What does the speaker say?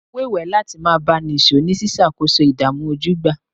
Mo wéwèé láti máa bá a nìṣó ní ṣíṣàkóso ìdààmú ojúgbà